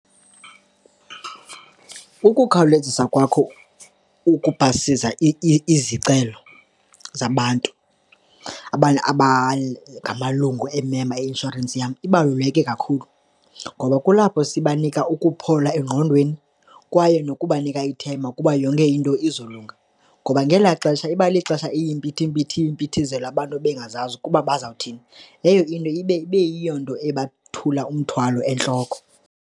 Ukukhawulezisa kwakho ukupasisa izicelo zabantu, abantu abangamalungu, ii-member yeinshorensi yam ibaluleke kakhulu ngoba kulapho sibanika ukuphola engqondweni kwaye nokubanika ithemba kuba yonke into izolunga. Ngoba ngelaa xesha iba lixesha iyimpithizelo, abantu bengazazi ukuba bazawuthini, leyo into ibe yeyona nto ebathula umthwalo entloko.